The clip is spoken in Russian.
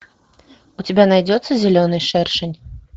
у тебя найдется зеленый шершень